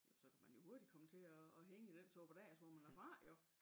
Jamen så kan man jo hurtigt komme til at hænge i den suppedas hvor man er fra jo